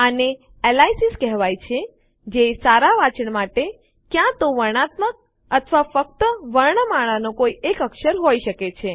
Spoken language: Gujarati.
આને એલયાસીઝ ઉપનામો કહેવાય છે જે સારાં વંચાણ માટે ક્યાં તો વર્ણનાત્મક અથવા ફક્ત વર્ણમાળાનો કોઈ એક અક્ષર હોઈ શકે છે